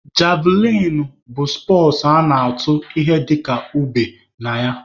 Javlịn bụ spọtsụ a na-atụ ihe dịka ube (javlịn) na ya.